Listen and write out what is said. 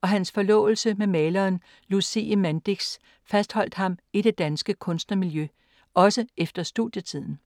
og hans forlovelse med maleren Lucie Mandix fastholdt ham i det danske kunstnermiljø, også efter studietiden.